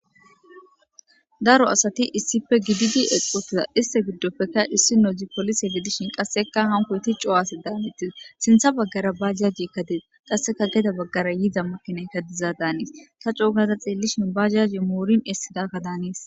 Daro asati issipe gididi eqi utida issinozi polise gidishin qasika hanikosati coo asigidishin sinitha bagara bajajeyika de7es ta coogada xelishin bajajey moretin esidaga malates